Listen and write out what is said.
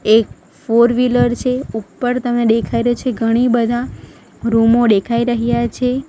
એક ફોરવીલર છે ઉપર તમે ડેખાય રહ્યા છે ઘણી બધા રૂમો ડેખાઈ રહ્યા છે.